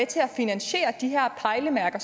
til at finansiere de her pejlemærker